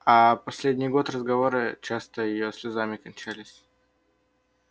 аа последний год разговоры часто её слезами кончались